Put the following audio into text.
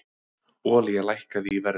Olía lækkaði í verði